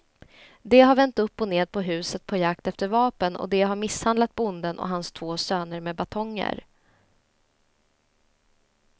De har vänt upp och ned på huset på jakt efter vapen och de har misshandlat bonden och hans två söner med batonger.